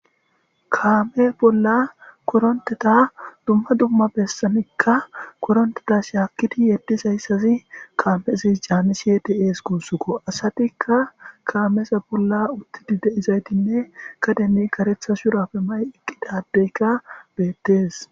kaame bolla koronteta dumma dumma bessamikka koronteta shaakkidi yeddishayssazi kaamezis jaanni shiedi7ees guussuko asatikka kaameeza bolla uttidi deizaytinne kademi karetha shurapfe ma7i eqqidadeyka beettees